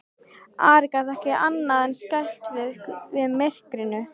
Ari gat ekki annað en skælt sig við myrkrinu.